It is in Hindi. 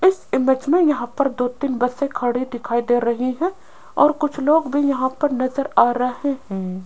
इस इमेज में यहां पर दो तीन बसें खड़ी दिखाई दे रही हैं और कुछ लोग भी यहां पर नजर आ रहे हैं।